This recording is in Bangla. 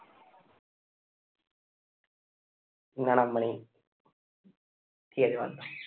না না মানে ঠিক আছে বাদ দাউ।